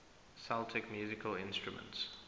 celtic musical instruments